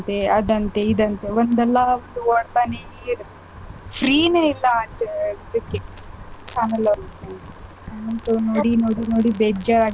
ಆದಂತೆ ಇದಂತೆ ಒಂದಲ್ಲಾ ಒಂದು ಓಡ್ತಾನೇ ಇರುತ್ತೆ free ನೇ ಇಲ್ಲಾ ಆ ಇದಕ್ಕೆ channel ಅವ್ರ್ ಗೆ, ನಂಗಂತು ನೋಡಿ ನೋಡಿ ನೋಡಿ ಬೇಜಾರಾಗ್ಬಿಟ್ಟಿದೆ.